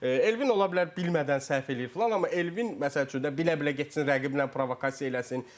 Elvin ola bilər bilmədən səhv eləyir filan, amma Elvin məsəl üçün də bilə-bilə getsin rəqiblə provokasiya eləsin.